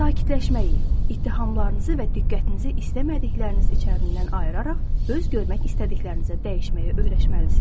Sakitləşməyi, ittihamlarınızı və diqqətinizi istəmədikləriniz içərisindən ayıraraq öz görmək istədiklərinizə dəyişməyə öyrəşməlisiz.